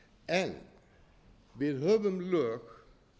en við höfum lög